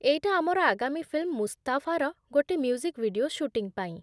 ଏଇଟା ଆମର ଆଗାମୀ ଫିଲ୍ମ 'ମୁସ୍ତାଫା'ର ଗୋଟେ ମ୍ୟୁଜିକ୍ ଭିଡିଓ ଶୁଟିଂ ପାଇଁ ।